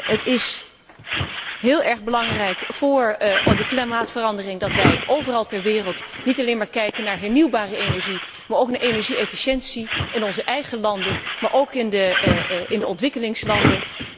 Het is heel erg belangrijk voor de klimaatverandering dat wij overal ter wereld niet alleen maar kijken naar hernieuwbare energie, maar ook naar energie efficiëntie, in onze eigen landen, maar ook in de ontwikkelingslanden.